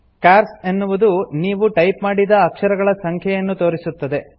chores - ಎನ್ನುವುದು ನೀವು type ಮಾಡಿದ ಅಕ್ಷರಗಳ ಸಂಖ್ಯೆಯನ್ನು ತೋರಿಸುತ್ತದೆ